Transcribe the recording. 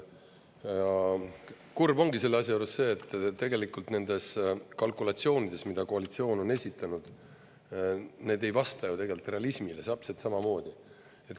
Kurb ongi selle asja juures see, et tegelikult nendes kalkulatsioonides, mida koalitsioon on esitanud, need ei vasta ju tegelikult realismile täpselt samamoodi.